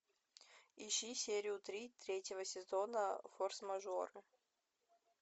ищи серию три третьего сезона форс мажоры